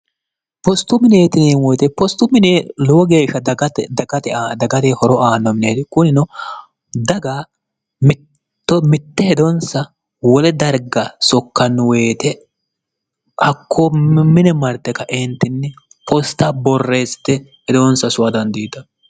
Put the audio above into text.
postu mineetineemoyite postu minelowo geeshsha dgae dagate horo aannominiheti kunino daga mito mitte hedonsa wole darga sokkannu woyite hakkoo i mine marte kaeentinni posta borreeste hedonsa sowa dandiita